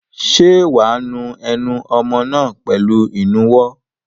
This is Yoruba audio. Ṣé wà á nu ẹnu ọmọ náà pẹ̀lú ìnuwọ́?